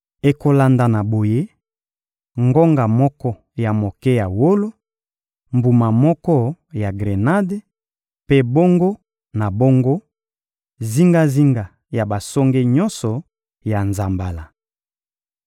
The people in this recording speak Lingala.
Ekolandana boye: ngonga moko ya moke ya wolo, mbuma moko ya grenade, mpe bongo na bongo, zingazinga ya basonge nyonso ya nzambala.